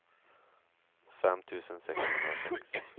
fem tusen sexhundrasex